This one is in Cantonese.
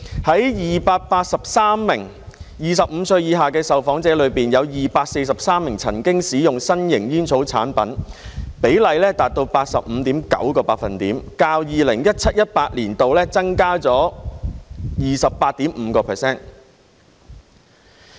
在283名25歲以下的受訪者中，有243名曾經使用新型煙草產品，比例達到 85.9%， 較 2017-2018 年度增加了 28.5%。